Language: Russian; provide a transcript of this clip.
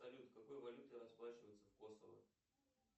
салют какой валютой расплачиваться в косово